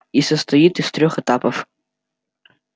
и состоит из трёх этапов